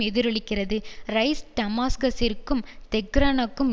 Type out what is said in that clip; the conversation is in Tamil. எதிரொலிக்கிறது ரைஸ் டமாஸ்கசிற்கும் தெஹ்ரானுக்கும்